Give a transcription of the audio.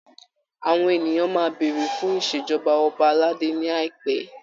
Àwọn ènìyàn máa béèrè fun ìṣèjọba ọba aládé ní àìpẹ.